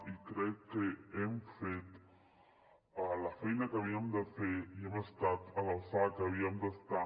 i crec que hem fet la feina que havíem de fer i hem estat a l’alçada que havíem d’estar